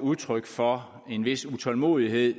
udtryk for en vis utålmodighed